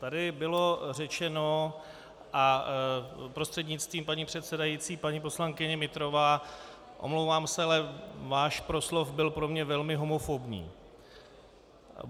Tady bylo řečeno a prostřednictvím paní předsedající, paní poslankyně Nytrová, omlouvám se, ale váš proslov byl pro mě velmi homofobní.